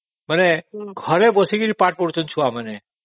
ମାନେ ଘରେ ବସିକି ପାଠ ପଢୁଛନ୍ତି ଛୁଆମାନେ